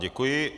Děkuji.